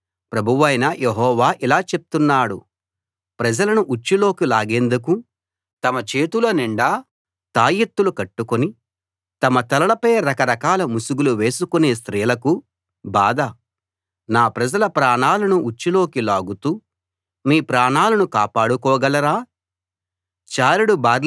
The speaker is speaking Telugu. ఇలా చెప్పు ప్రభువైన యెహోవా ఇలా చెప్తున్నాడు ప్రజలను ఉచ్చులోకి లాగేందుకు తమ చేతుల నిండా తాయెత్తులు కట్టుకుని తమ తలలపై రకరకాల ముసుగులు వేసుకునే స్త్రీలకు బాధ నా ప్రజల ప్రాణాలను ఉచ్చులోకి లాగుతూ మీ ప్రాణాలను కాపాడుకోగలరా